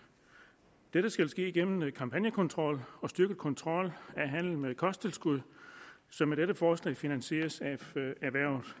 dette skal ske igennem en kampagnekontrol og en styrket kontrol af handelen med kosttilskud som med dette forslag finansieres